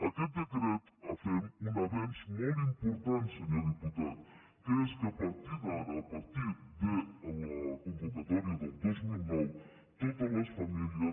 amb aquest decret fem un avenç molt important senyor diputat que és que a partir d’ara a partir de la convocatòria del dos mil nou totes les famílies